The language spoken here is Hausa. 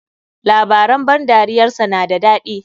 Labaran ban dariyar sa na da dadi.